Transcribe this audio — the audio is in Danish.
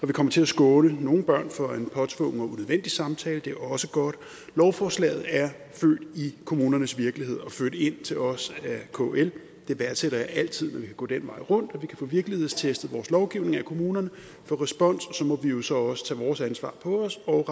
vi kommer til at skåne nogle børn for en påtvungen og unødvendig samtale er også godt lovforslaget er født i kommunernes virkelighed og ført ind til os af kl jeg værdsætter altid når vi kan gå den vej rundt og vi kan få virkelighedstestet vores lovgivning af kommunerne få respons og så må vi jo så også tage vores ansvar på os og